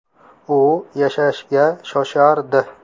U yashashga shoshardi.